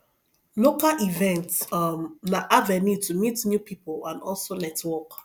local events um na avenue to meet new pipo and also network